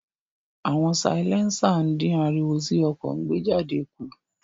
Awọn silẹnsa din ariwo ti ọkọ ńgbejade ku.